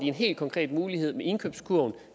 en helt konkret mulighed med indkøbskurven